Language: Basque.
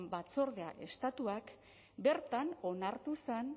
batzordea estatuak bertan onartu zen